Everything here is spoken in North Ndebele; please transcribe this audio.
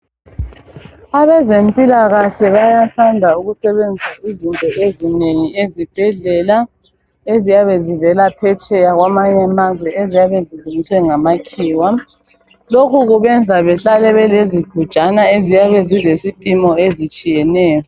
Abezempilakahle bayathanda ukusebenzisa izinto ezinengi ezibhedlela eziyabe zivela phetsheya kwamanye amazwe eziyabe zilungiswe ngamakhiwa lokhu kubenza behlale belezigujaya eziyabe zilesipimo ezitshiyeneyo